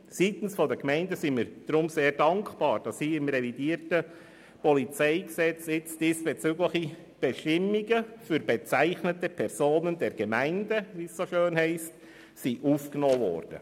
Seitens der Gemeinden sind wir deshalb sehr dankbar, dass im revidierten PolG diesbezügliche Bestimmungen für «bezeichnete Personen der Gemeinde», wie es so schön heisst, aufgenommen wurden.